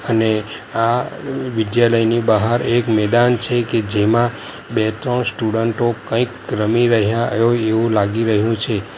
અને આ વિદ્યાલયની બહાર એક મેદાન છે કે જેમાં બે ત્રણ સ્ટુડન્ટો કંઈક રમી રહ્યા હોય એવું લાગી રહ્યું છે.